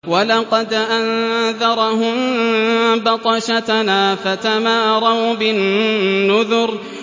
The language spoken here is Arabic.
وَلَقَدْ أَنذَرَهُم بَطْشَتَنَا فَتَمَارَوْا بِالنُّذُرِ